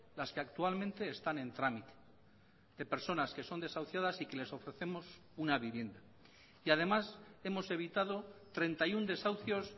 las que actualmente están en trámite de personas que son desahuciadas y que les ofrecemos una vivienda y además hemos evitado treinta y uno desahucios